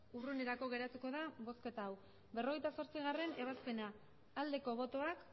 urrunerako geratuko da bozketa hau berrogeita zortzigarrena ebazpena aldeko botoak